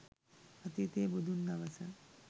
අතීතියේ බුදුන් දවස